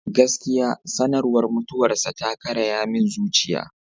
Gaskiya, sanarwar mutuwarsa ta karaya min zuciya.